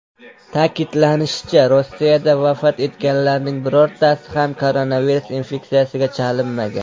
Ta’kidlanishicha, Rossiyada vafot etganlarning birortasi ham koronavirus infeksiyasiga chalinmagan.